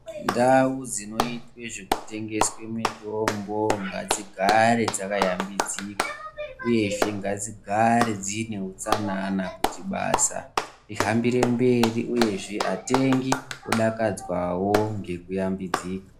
Ndau dzinoitwe zveku tengeswe mitombo ngadzigare dzaka yambidzika uyezve ngadzi gare dzine utsanana kuti basa rihambire mberi uyezve atengi odakadzwawo ngeku yambidzika.